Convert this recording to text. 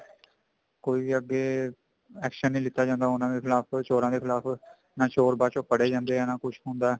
ਕੋਈ ਵੀ ਅੱਗੇ action ਨੀ ਲਿੱਤਾ ਜਾਂਦਾ ਉਹਨਾ ਦੇ ਖਿਲਾਫ਼ ਚੋਰਾਂ ਦੇ ਖਿਲਾਫ਼ ਨਾ ਚੋਰ ਬਾਅਦ ਚੋੰ ਫੜੇ ਜਾਂਦੇ ਆਂ ਨਾ ਕੁੱਝ ਹੁੰਦਾ